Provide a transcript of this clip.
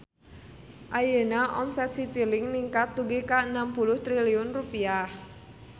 Ayeuna omset Citilink ningkat dugi ka 60 triliun rupiah